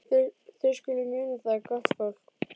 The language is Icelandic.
Þið skuluð muna það, gott fólk,